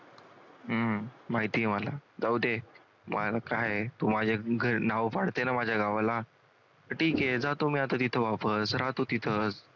हम्म माहितेय मला जाऊदे मला काय नावं पाडते ना माझ्या गावाला तर ठीक आहे जातो मी आता तिथं वापस राहतो तिथंच.